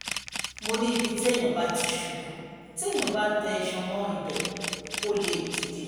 mo ní ibi téèyàn bá ti ṣubú téèyàn bá tẹ iṣan mọ́ ibẹ̀ ò lè dìde